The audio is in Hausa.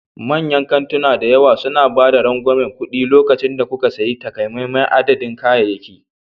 Manyan kantuna da yawa suna ba da rangwamen kuɗi lokacin da kuka sayi takamaiman adadin kayayyaki.